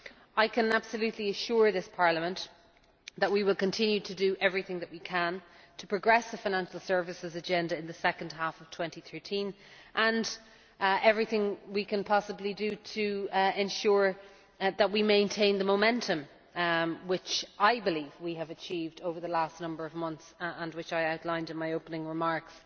I can absolutely assure this Parliament that we will continue to do everything that we can to progress the financial services agenda in the second half of 2013 and everything we can possibly do to ensure that we maintain the momentum which we have achieved over the last number of months and which I outlined in my opening remarks.